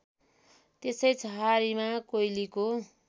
त्यसै छहारीमा कोइलीको